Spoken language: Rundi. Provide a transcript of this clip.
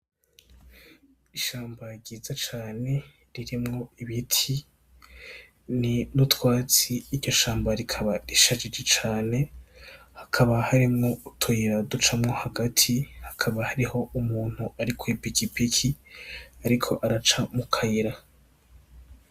Ishamba ryiza cane ririmwo ibiti ni utwatsi iryo shamba rikaba risharije cane hakaba hariyo utuyira ducamwo hagati hakaba hariyo umuntu ari ku ipikipiki ariko araca mu kayira.